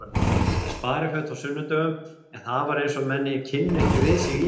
Spariföt á sunnudögum en það var eins og menn kynnu ekki við sig í þeim.